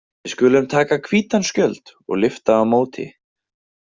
Við skulum taka hvítan skjöld og lyfta á móti.